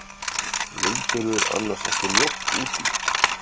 Vildirðu annars mjólk út í?